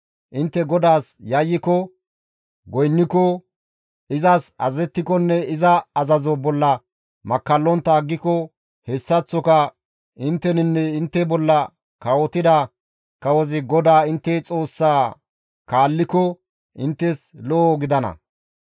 Intte GODAAS yayyiko goynniko, izas azazettikonne iza azazo bolla makkallontta aggiko, hessaththoka intteninne intte bolla kawotida kawozi GODAA intte Xoossaa kaalliko inttes lo7o gidana.